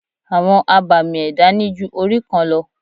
Àwọn abàmì ẹ̀dá ní ju orí kan lọ.